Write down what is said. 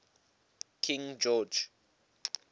king george